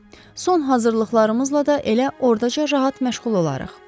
Son hazırlıqlarımızla da elə ordaca rahat məşğul olarıq.